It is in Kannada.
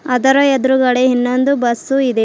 ಅದರ ಎದ್ರುಗಡೆ ಇನ್ನೊಂದು ಬಸ್ಸು ಇದೆ.